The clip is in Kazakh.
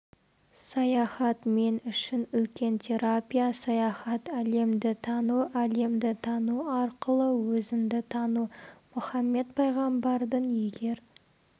саяхат мен үшін үлкен терапия саяхат әлемді тану әлемді тану арқылы өзіңді тану мұхаммед пайғамбардың егер